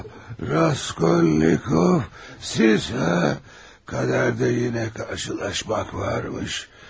Raskolnikov, sizlə qismətdə yenə qarşılaşmaq varmış.